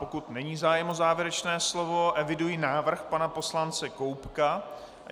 Pokud není zájem o závěrečné slovo, eviduji návrh pana poslance Koubka.